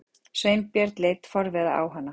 Sveinbjörn leit forviða á hana.